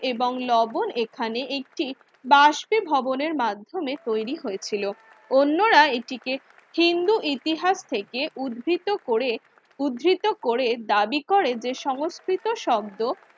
এবং লবন এখানে একটি বাস্পিভবনের মাধ্যমে তৈরি হয়েছিল অন্যরা এটিকে হিন্দু ইতিহাস থেকে উদ্ভিত করে উদ্ধৃত করে দাবি করে যে সংস্কৃত শব্দ